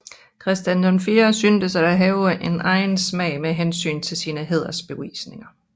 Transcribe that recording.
Christian VI synes at have haft en egen smag med hensyn til sine hædersbevisninger